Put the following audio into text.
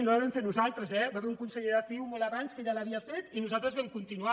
no la vam fer nos·altres eh hi va haver un conseller de ciu molt abans que ja l’havia fet i nosaltres vam continuar